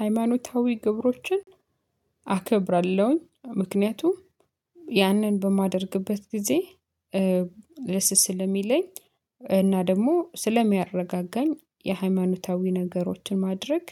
ሃይማኖታዊ ግብሮችን አከብራለሁኝ ምክንያቱም ያንን በማደርግበት ጊዜ ደስስ ለሚለኝ። እና ደግሞ ስለሚያረጋጋኝ የሃይማኖታዊ ነገሮችን ማድረግ